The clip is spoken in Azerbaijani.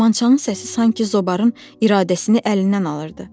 Kamançanın səsi sanki zobarın iradəsini əlindən alırdı.